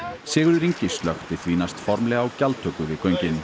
Sigurður Ingi slökkti því næst formlega á gjaldtöku við göngin